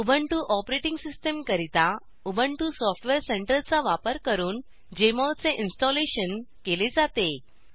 Ubuntu OS करिता Ubuntu software center चा वापर करून जेएमओल चे इंस्टॉलेशनप्रतिष्ठापन केले जाते